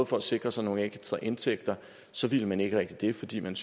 for at sikre sig nogle ekstra indtægter så ville man ikke rigtig det fordi man